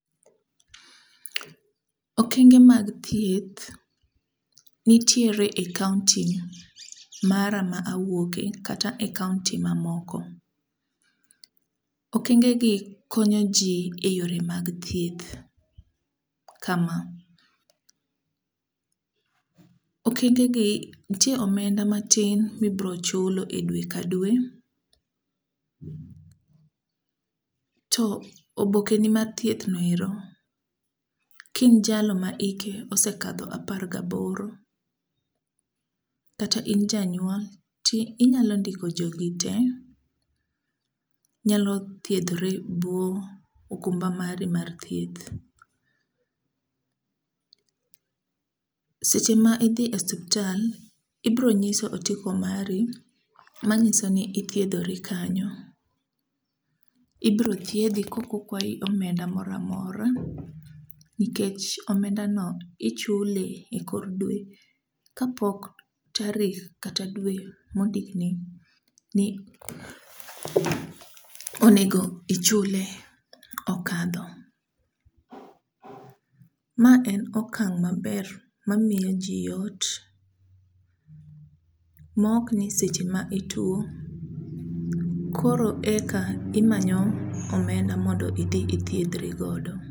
okenge mag thieth nitiere e kaonti mara ma awuoke kata e kaonti mamoko. Okengegi konyoji e yore mag thieth, kama . Okengegi, nitie omenda matin mibro chulo dwe ka dwe, to obokeni mar thieth no ero, ka in jalno ma osekadho apar gaboro, kata in janyuol, tinyalo ndiko jogi te, nyalo thierdhore e bwo okumba mari mar thieth. Seche ma idhi e osuptal, ibiro nyiso otiko mari manyiso ni ithiedori kanyo. Ibiro thiedhi kok okwayi omenda mora mora nikech omendano ichule e kor dwe kapok tarik kata dwe mondikni ni monego ichule okalo. Ma en okang' maber mamiyoji yot, mok ni seche ma ituwo, koro eka imanyo omenda mondo idhi ithiedhri godo.